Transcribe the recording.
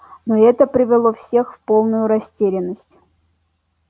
но это привело всех в полную растерянность